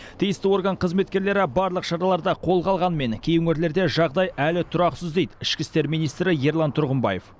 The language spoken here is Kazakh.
тиісті орган қызметкерлері барлық шараларды қолға алғанмен кей өңірлерде жағдай әлі тұрақсыз дейді ішкі істер министрі ерлан тұрғымбаев